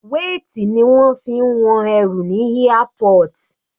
Weight ni wọ́n fi ń wọn ẹrù ní airport.